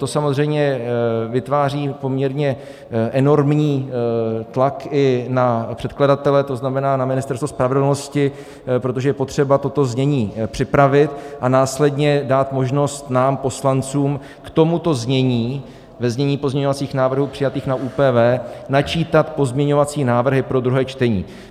To samozřejmě vytváří poměrně enormní tlak i na předkladatele, to znamená na Ministerstvo spravedlnosti, protože je potřeba toto znění připravit a následně dát možnost nám poslancům k tomuto znění ve znění pozměňovacích návrhů přijatých na ÚPV načítat pozměňovací návrhy pro druhé čtení.